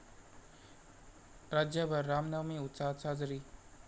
राज्यभर रामनवमी उत्साहात साजरी